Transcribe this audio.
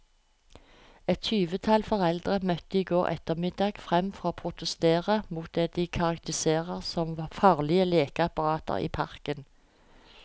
Et tyvetall foreldre møtte i går ettermiddag frem for å protestere mot det de karakteriserer som farlige lekeapparater i parken.